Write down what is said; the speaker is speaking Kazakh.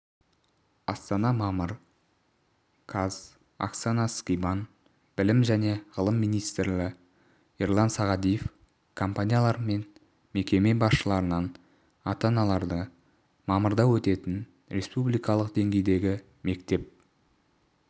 астана мамыр қаз оксана скибан білім және ғылым министрі ерлан сағадиев компаниялар мен мекеме басшыларынан ата-аналарды мамырда өтетін республикалық деңгейдегі мектеп